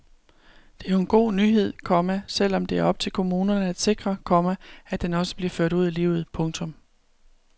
Det er jo en god nyhed, komma selv om det er op til kommunerne at sikre, komma at den også bliver ført ud i livet. punktum